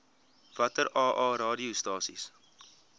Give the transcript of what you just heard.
watter aa radiostasies